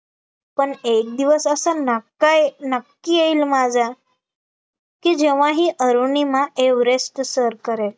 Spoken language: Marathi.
पण एक दिवस असा ना काय नक्की येईल माझा, की जेव्हा ही अरुणिमा एव्हरेस्ट सर करेल